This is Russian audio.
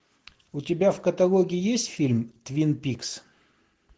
у тебя в каталоге есть фильм твин пикс